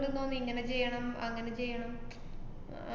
ഇങ്ങനെ ചെയ്യണം അങ്ങനെ ചെയ്യണം ഏർ